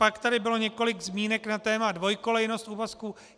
Pak tady bylo několik zmínek na téma dvojkolejnost úvazku.